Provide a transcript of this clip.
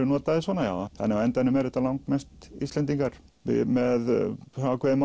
notaðir svona já þannig á endanum eru þetta mest Íslendingar með